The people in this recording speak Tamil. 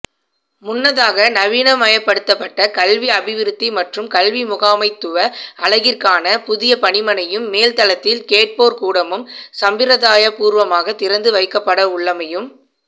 முன்னதாக நவீனமயப்படுத்தப்பட்ட கல்வி அபிவிருத்தி மற்றும் கல்விமுகாமைத்துவ அலகிற்கான புதிய பணிமனையும் மேல்தளத்தில் கேட்போர்கூடமும் சம்பிரதாயபூர்வமாக திறந்துவைக்கப்படவுள்ளமையும்